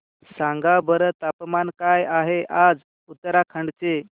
सांगा बरं तापमान काय आहे आज उत्तराखंड चे